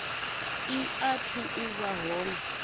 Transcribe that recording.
i athu u vha hone